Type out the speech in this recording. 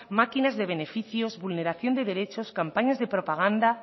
máquinas de beneficios vulneración de derechos campañas de propaganda